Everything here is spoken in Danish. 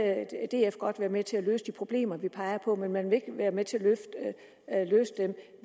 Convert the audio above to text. df godt være med til at løse de problemer vi peger på men man vil ikke være med til at løse dem